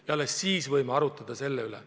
– ja alles siis võime arutada muu üle.